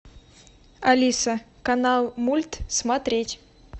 алиса канал мульт смотреть